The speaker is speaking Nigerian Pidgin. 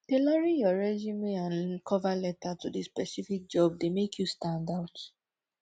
tailoring your resume and cover letter to di specific job dey make you stand out